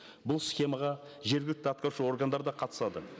бұл схемаға жергілікті атқарушы органдар да қатысады